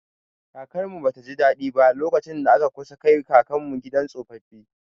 Kakarmu ba ta ji daɗi ba, lokacin da aka kusa kai kakanmu gidan tsofaffi.